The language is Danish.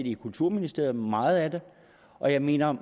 i kulturministeriet meget af det og jeg mener